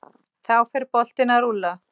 Þá fer boltinn að rúlla.